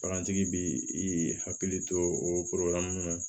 Bagantigi bi i hakili to o na